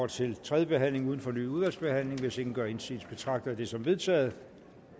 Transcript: til tredje behandling uden fornyet udvalgsbehandling hvis ingen gør indsigelse betragter jeg det som vedtaget